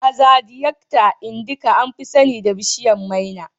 Azadiachta indica, an fi sani da bishiyar maina